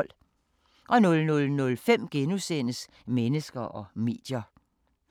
00:05: Mennesker og medier *